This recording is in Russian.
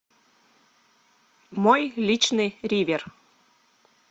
мой личный ривер